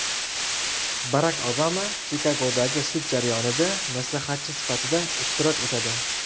Barak Obama Chikagodagi sud jarayonida maslahatchi sifatida ishtirok etadi.